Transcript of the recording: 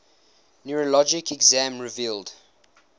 neurologic exam revealed